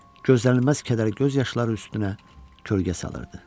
gözlənilməz kədər göz yaşları üstünə kölgə salırdı.